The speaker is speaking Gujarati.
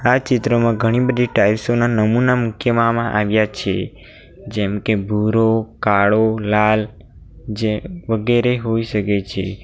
આ ચિત્રમાં ઘણી બધી ટાઇલ્સો ના નમુના મુખ્ય મામા આવ્યા છે જેમ કે ભૂરો કાળો લાલ જે વગેરે હોઈ શકે છે.